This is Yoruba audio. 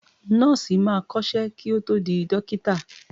Nọ́ọ̀sì máa kọ́ṣẹ́ kí ó tó di dọ́kítà.